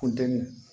Funteni